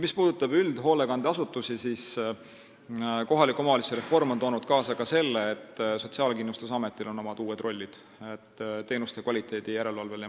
Mis puudutab üldhoolekandeasutusi, siis kohaliku omavalitsuse reform on toonud kaasa ka selle, et Sotsiaalkindlustusametil on omad uued rollid teenuste kvaliteedi järelevalvel.